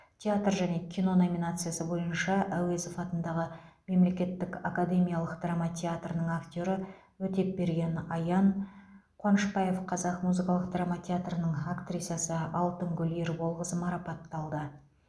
театр және кино номинациясы бойынша әуезов атындағы мемлекеттік академиялық драма театры актері өтепберген аян қуанышбаев қазақ музыкалық драма театрының актрисасы алтынгүл ерболқызы марапатталды